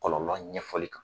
Kɔlɔlɔ ɲɛfɔli kan.